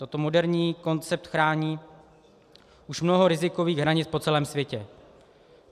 Tento moderní koncept chrání už mnoho rizikových hranic po celém světě.